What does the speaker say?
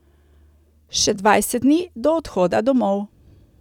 Še dvajset dni do odhoda domov.